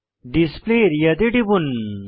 display area তে টিপুন